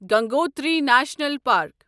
Gangotri national park